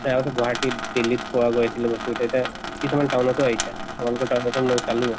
সেয়াওতো গুৱাহাটীত দিল্লীত পোৱা গৈছিল বস্তু গিতা, কিছুমান town তো আহিহে । তোমালোকৰ town তো মই চালো।